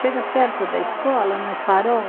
Chega perto da escola, no farol,